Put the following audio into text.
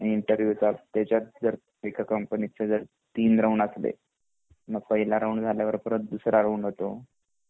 interview च त्याचात जर एका कंपनी च जर तीन राऊंड असले तर मग पहिलं राऊंड झाल्यावर तर परत दूसरा राऊंड होतो